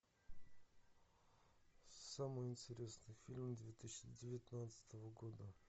самый интересный фильм две тысячи девятнадцатого года